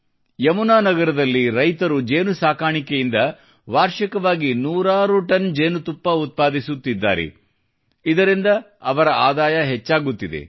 ಯಮುನಾ ನಗರದಲ್ಲಿ ರೈತರು ಜೇನುನೊಣ ಸಾಕಾಣಿಕೆಯಿಂದ ವಾರ್ಷಿಕವಾಗಿ ನೂರಾರು ಟನ್ ಜೇನುತುಪ್ಪವನ್ನು ಉತ್ಪಾದಿಸುತ್ತಿದ್ದಾರೆ ಇದರಿಂದ ಅವರ ಆದಾಯ ಹೆಚ್ಚಾಗುತ್ತಿದೆ